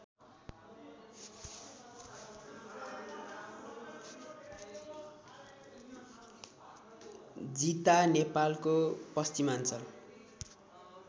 जिता नेपालको पश्चिमाञ्चल